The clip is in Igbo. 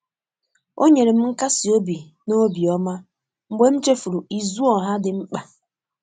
o nyere m nkasi obi n'obioma mgbe m chefuru izu oha ndi mkpa